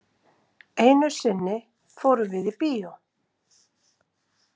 Einu sinni fórum við í bíó.